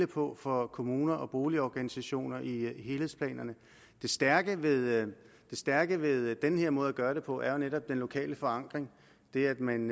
på for kommuner og boligorganisationer i helhedsplanerne det stærke det stærke ved den her måde at gøre det på er jo netop den lokale forankring det at man